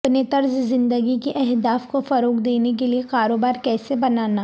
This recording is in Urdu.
اپنے طرز زندگی کی اہداف کو فروغ دینے کے لئے کاروبار کیسے بنانا